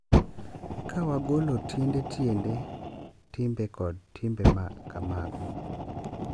Ka wagolo tiende tiende timbe kod timbe ma kamago,